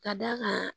Ka d'a kan